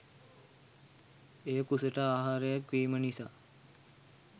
එය කුසට ආහාරයක් වීම නිසා